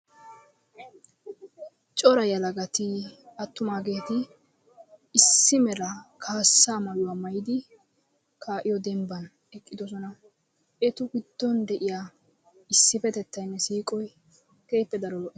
cora yelagaati attumaageti issi mala kaassaa mayuwaa maayiddi kaa'iyoo dembban eqqidoosona. etu giiddon de"iyaa issipettetaynne siiqoy keehippe daro lo"o.